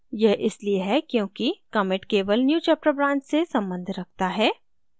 यह इसलिए है क्योंकि commit केवल newchapter branch से सम्बन्ध रखता है